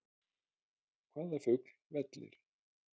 Hvaða fugl vellir?